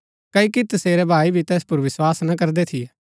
क्ओकि तसेरै भाई भी तैस पुर विस्वास ना करदै थियै